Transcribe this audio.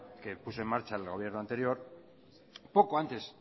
que puso en marcha el gobierno anterior poco antes